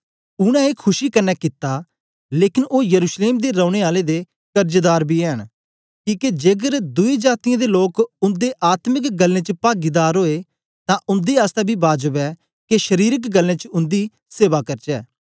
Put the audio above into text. उनै ए खुशी कन्ने कित्ता लेकन ओ यरूशलेम दे रौने आले दे कर्जदार बी ऐ न किके जेकर दुई जातीयें दे लोक उन्दे आत्मिक गल्लें च पागीदार ओए तां उन्दे आसतै बी बाजब ऐ के शरीरक गल्लें च उन्दी सेवा करचै